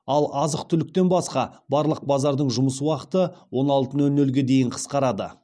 ал азық түліктен басқа барлық базардың жұмыс уақыты он алты нөл нөлге дейін қысқарады